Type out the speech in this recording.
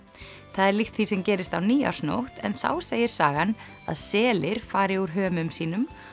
það er líkt því sem gerist á nýársnótt en þá segir sagan að selir fari úr hömum sínum